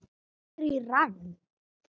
Anddyri það er í rann.